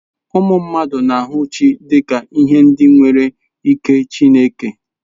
Ụmụ mmadụ na-ahụ chi dị ka ihe ndị nwere ike Chineke.